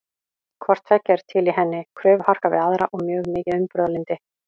Hvort tveggja er til í henni, kröfuharka við aðra og mjög mikið umburðarlyndi.